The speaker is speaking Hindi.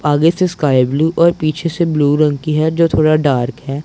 आगे से स्काई ब्लू और पीछे से ब्लू रंग की है जो थोड़ा डार्क है।